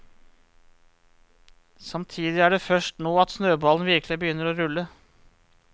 Samtidig er det først nå at snøballen virkelig begynner å rulle.